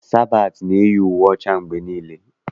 Sabatị na-eyi uwe ọcha mgbe niile.